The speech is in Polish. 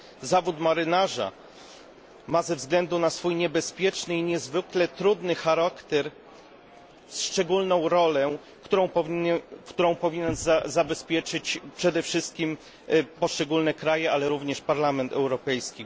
Zawód marynarza ma ze względu na swój niebezpieczny i niezwykle trudny charakter szczególną rolę, którą powinny zabezpieczyć przede wszystkim poszczególne kraje, ale również Parlament Europejski.